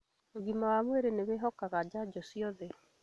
ũgima wa mwĩrĩ nĩwĩhokaga njanjo ciothe